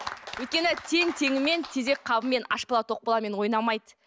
өйткені тең теңімен тезек қабымен аш бала тоқ баламен ойнамайды